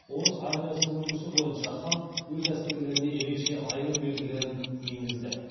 орыс армиясының үлгісі бойынша хан өз әскерлеріне ерекше айырым белгілерін енгізді